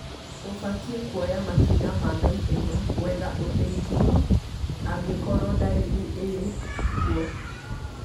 ũbatiĩ kuoya makinya ma naihenya gwetha ũteithio angĩkorwo ndariri irĩ kuo